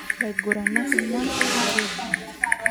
Laiguranak onguan tolari obo.